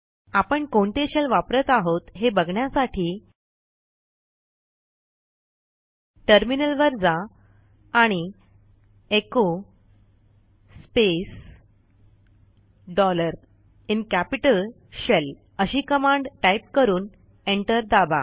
आपण कोणते Shellवापरत आहोत हे बघण्यासाठी टर्मिनल वर जा आणि echo space dollar in capital shell अशी कमांड टाईप करून एंटर दाबा